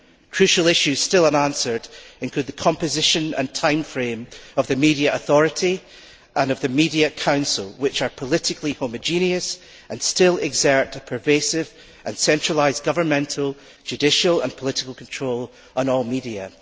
Crucial issues still unanswered include the composition and time frame of the media authority and of the Media Council, which are politically homogenous and still exert pervasive and centralised governmental, judicial and political control on all media.